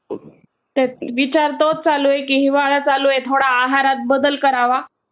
विचार तोच चालू आहे की हिवाळा चालू आहे, थोडा आहारात बदल करावा.